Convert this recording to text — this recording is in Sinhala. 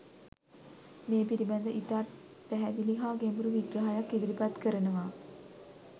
මේ පිළිබඳ ඉතා පැහැදිලි හා ගැඹුරු විග්‍රහයක් ඉදිරිපත් කරනවා.